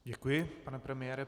Děkuji, pane premiére.